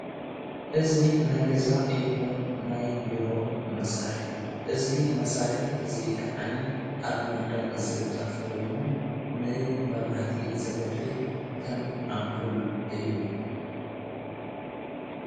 እዙ ናይ ገዛ ይሆን ናይ ቢሮ መሣርሕ እዩ እዙ መሣርሒ እዙይ ከዓኒ ኣብ መንደቕ ዝልጠሕፍ ኮይኑ ንይ መብራቲ ዘገልግል ከም ኣምፑል እዩ።